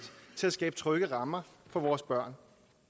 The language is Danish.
til at skabe trygge rammer for vores børn